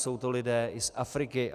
Jsou to lidé i z Afriky.